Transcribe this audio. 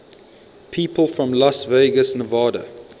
people from las vegas nevada